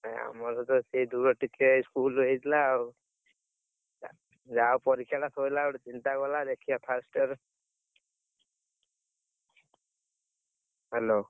ନାଇଁ ଆମର ତ, ସେଇ ଦୂର ଟିକେ, school ହେଇଥିଲା ଆଉ। ଯାହା ହଉ ପରୀକ୍ଷାଟା, ସଇଲା ଗୋଟେ, ଚିନ୍ତା ଗଲା। ଦେଖିଆ first year Hello ।